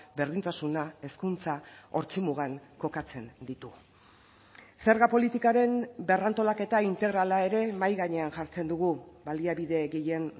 berdintasuna hezkuntza ortzi mugan kokatzen ditu zerga politikaren berrantolaketa integrala ere mahai gainean jartzen dugu baliabide gehien